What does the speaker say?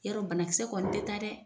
Yɔrɔ banakisɛ kɔni tɛ taa dɛ!